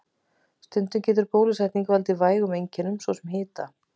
Stundum getur bólusetning valdið vægum einkennum, svo sem hita.